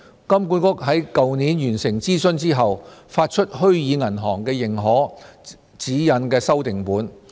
金管局在去年完成諮詢後，發出《虛擬銀行的認可》指引修訂本。